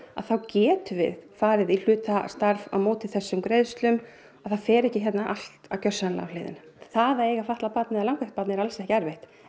þá getum við farið í hlutastarf á móti þessum greiðslum og það fer ekki hérna allt gjörsamlega á hliðina það að eiga fatlað barn eða langveikt barn er alls ekki erfitt